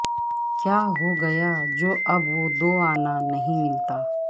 کیا ہو گیا جو اب وہ دوانا نہیں ملتا